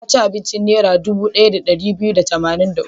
Ya ci abincin Naira dubu ɗaya da ɗari biyu da tamanin da uku.